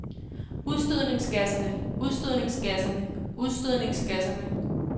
udstødningsgasserne udstødningsgasserne udstødningsgasserne